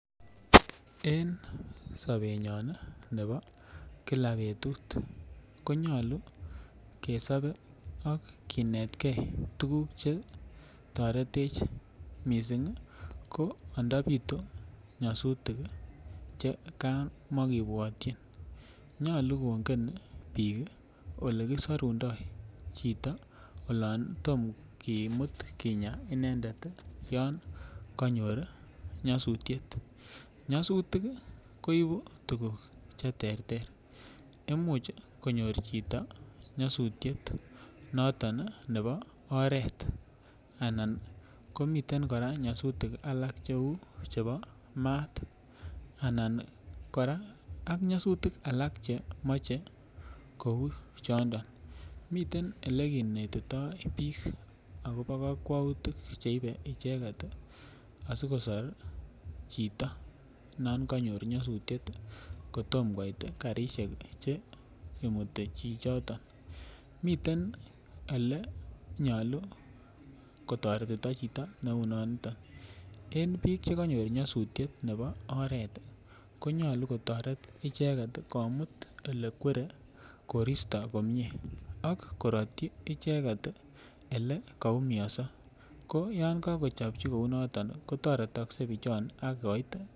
En sobenyon nebo kila betut ko nyolu kesobe ak kinet ge tuguk Che toretech mising ko ando bitu nyasutik Che kamatikibwotyin nyolu kongen bik Ole kisorundoi chito olon tom kimut kinyaa inendet yon kanyor nyasutiet nyasutik ko ibu tuguk Che terter Imuch konyor chito nyasutiet noton nebo oret anan nebo Anan komiten kora nyasutik alak cheu chebo maat anan kora nyasutik alak Che moche kou choniton miten Ole kinetitoi bik agobo kakwautik Che ibe icheget asi kosor chito non konyor nyasutiet kotom koit Che imuti chichoto miten Ole nyolu ko toretito chito neu noniton en bik Che kanyor nyasutiet nebo oret konyolu kotoret icheget komut Ole kwere koristo komie ak korotyi icheget Ole kaumianso ko olon kakochopchi kou noton kotoretokse bichoon agoit sipitali